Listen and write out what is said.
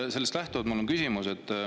Sellest lähtuvalt on mul küsimus.